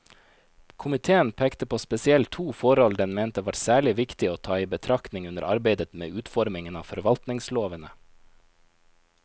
Komiteen pekte på spesielt to forhold den mente var særlig viktig å ta i betraktning under arbeidet med utformingen av forvaltningslovene.